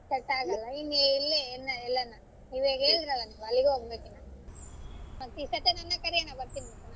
Set ಆಗಲ್ಲ ಇನ್ ಎಲ್ಲಿ ಎನ್ ಹೇಳ್ ಅಣ್ಣಾ ಈವಾಗ ಹೇಳಿದರಲ್ಲಣ್ಣಾ ಅಲ್ಲಿಗೆ ಹೋಗಬೇಕೆನ ಈ ಸತಿ ನನ್ನ ಕರಿ ಅಣ್ಣಾ ಬರ್ತೀನಿ.